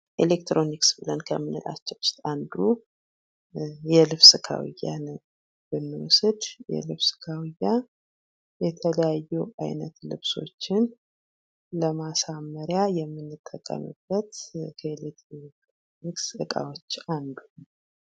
ኤሌክትሮኒክስ ብለነ ከምንላችው ውስጥ አንዱ የልብስ ከውያ ነው። ብንውስድ የልብስ ካውያ የተለያዩ አይነት ልብሶችን ለማሳመሪያ የምጠቀሙበት ከቤት የኤሌክትሮኒክስ ዕቃዎች አንዱ ነው።